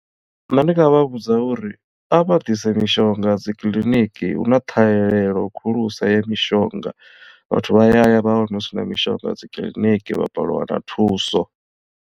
Nṋe ndi nga vha vhudza uri a vha ḓise mishonga dzikiḽiniki hu na ṱhahelelo khulusa ya mishonga vhathu vha ya ya vha wana hu si na mishonga dzikiḽiniki vha balelwa u wana thuso.